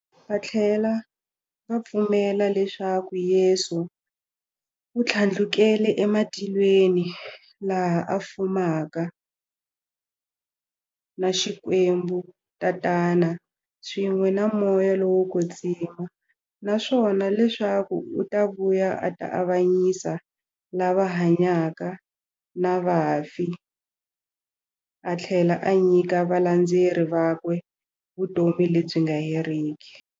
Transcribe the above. Vathlela va pfumela leswaku Yesu u thlandlukele e matilweni, laha a fumaka na Xikwembu-Tatana, swin'we na Moya lowo kwetsima, naswona leswaku u ta vuya a ta avanyisa lava hanyaka na vafi athlela a nyika valandzeri vakwe vutomi lebyi nga heriki.